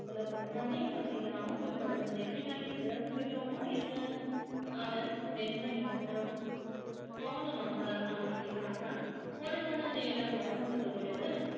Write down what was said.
புலப்பட்டது அதே மாதிரி நாமும் இப்பொழுது நெற்றிக்கண்ணை திறந்து விட்டோமா என்ன அவன் மென்மையானான் மௌனமாக அமைதி காத்தான் ஒரு கண நேரம் மௌனத்துக்கு பிறகு